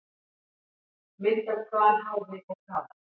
Mynd af hvalháfi og kafara.